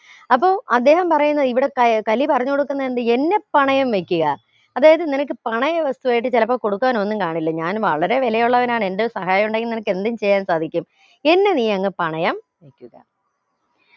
അപ്പൊ അദ്ദേഹം പറയുന്നത് ഇവിടെ ക കലി പറഞ്ഞുകൊടുക്കുന്നുണ്ട് എന്നെ പണയം വെക്കുക അതായത് നിനക്ക് പണയ വസ്തുവായിട്ട് ചിലപ്പോ കൊടുക്കാൻ ഒന്നും കാണില്ല ഞാൻ വളരെ വിലയുള്ളവനാണ് എന്റെ സഹായം ഉണ്ടെങ്കി നിനക്ക് എന്തും ചെയ്യാൻ സാധിക്കും എന്നെ നിയങ് പണയം വെക്കുക